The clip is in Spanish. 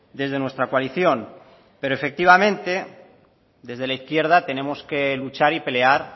desde nuestra coalición pero efectivamente desde la izquierda tenemos que luchar y pelear